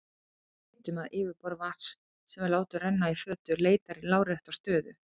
Við vitum að yfirborð vatns sem við látum renna í fötu leitar í lárétta stöðu.